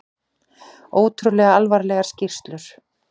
Ótrúlega alvarlegar skýrslur